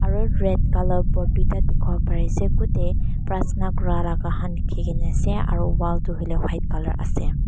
aro red colour board toita dikipolae pari asae kudae pratana kura laga khan likikina asae aro wall toh hoilae white colour asae.